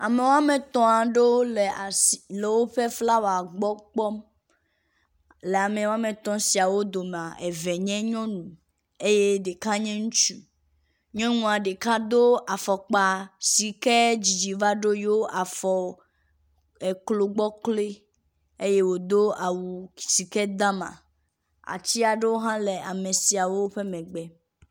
Amewo woametɔ̃ aɖewo le asi le woƒe flawɔ gbɔ kpɔm. Le ame woametɔ̃ siawo domea, eve nyɔnu eye ɖeka nye ŋutsu. Nyɔnua ɖeka do afɔkpa si ke dzidzi va ɖo yeawò afɔ eklo gbɔ kloe eye wòdo awu si ke da ama. Ati aɖewo hã le ame siawo ƒe megbe